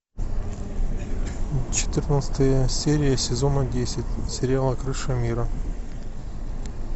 четырнадцатая серия сезона десять сериала крыша мира